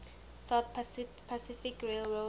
southern pacific railroad